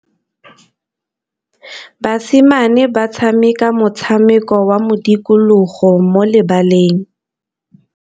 Basimane ba tshameka motshameko wa modikologô mo lebaleng.